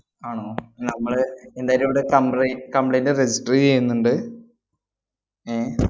ആണോ, നമ്മള് ന്തായാലും ഇവിടെ complai~ complaint register ചെയ്യുന്നുണ്ട്. ഏർ